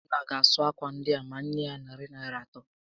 Obinna ga-asụ ákwà ndịa ma m nyé ya narị Naịra atọ